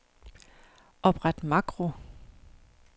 Opret makro.